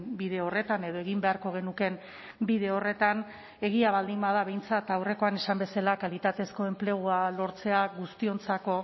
bide horretan edo egin beharko genukeen bide horretan egia baldin bada behintzat aurrekoan esan bezala kalitatezko enplegua lortzea guztiontzako